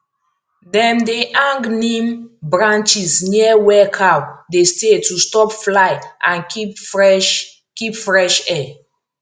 dem dey hang neem branches near where cow dey stay to stop fly and keep fresh keep fresh air